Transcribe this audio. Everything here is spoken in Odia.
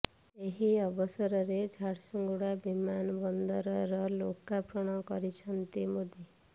ଏହି ଅବସରରେ ଝାରସୁଗୁଡା ବିମାନ ବନ୍ଦରର ଲୋକାର୍ପଣ କରିଛନ୍ତି ମୋଦି